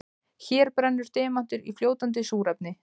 Hér brennur demantur í fljótandi súrefni.